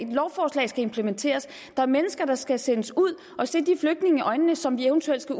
lovforslag skal implementeres der er mennesker der skal sendes ud og se de flygtninge i øjnene som eventuelt skal